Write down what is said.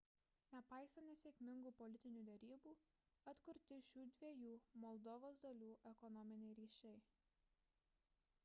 nepaisant nesėkmingų politinių derybų atkurti šių dviejų moldovos dalių ekonominiai ryšiai